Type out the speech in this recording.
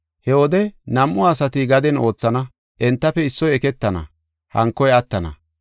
“He wode nam7u asati gaden oothana. Entafe issoy eketana, hankoy attana.